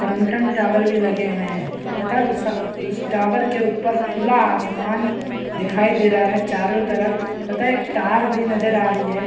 Tower भी लगे हुए हैं तथा सा टावर के ऊपर खुला आसमान दिखाई दे रहा है चारों तरफ तथा एक तार भी नजर आ रही है।